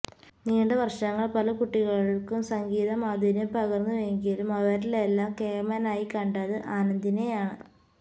നീണ്ട വര്ഷങ്ങള് പല കുട്ടികള്ക്കും സംഗീത മാധുര്യം പകര്ന്നുവെങ്കിലും അവരിലെല്ലാം കേമനായി കണ്ടത് ആനന്ദിനെയാണ്